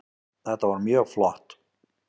Þetta var mjög flott